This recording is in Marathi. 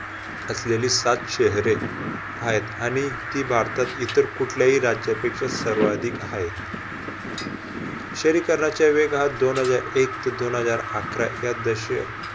असलेली सात शहरे हायत, आणि ती भारतात इतर कुठल्याही राज्यापेक्षा सर्वाधिक हाय. शहरीकरणाच्या वेगात दोन हजार एक ते दोन हजार अकरा या दश